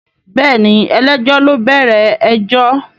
Bẹ́ẹ̀ni ẹlẹ́jọ́ ló bẹ̀rẹ̀ ẹjọ́